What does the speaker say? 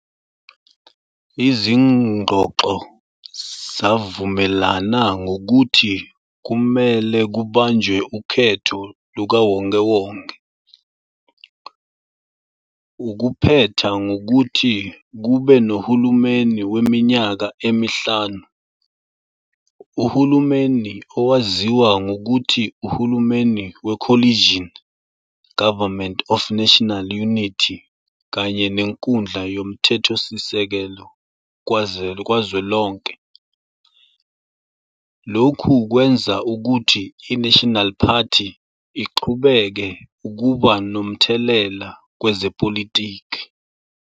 Izingxoxo zavumelana ngokuthi kumele kubanjwe ukhetho lukawonkewonke, ukuphetha ngokuthi kube nohulumeni weminyaka emihlanu, uhulumeni owaziwa ngokuthi uhulumeni we-coalition government of national unity kanye nenkundla yomthethosisekelo kazwelonke, lokhu kwenza ukuthi i-National Party iqhubeke ukuba nomthelela kwezepoliltiki.